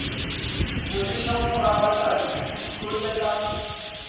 go leša mogalakane itote ka